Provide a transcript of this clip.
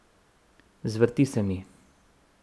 Zvrti se mi.